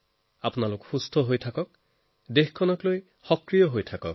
আপোনালোক সুস্থ থাকক দেশৰ বাবে সক্ৰিয় হৈ থাকক